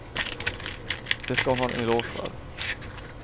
Det ska hon ha en eloge för.